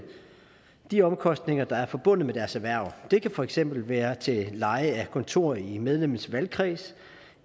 de omkostninger der er forbundet med deres erhverv det kan for eksempel være til leje af kontor i medlemmets valgkreds